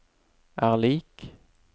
er lik